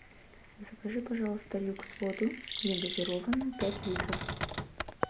закажи пожалуйста люкс воду негазированную пять литров